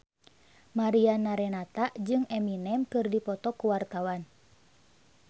Mariana Renata jeung Eminem keur dipoto ku wartawan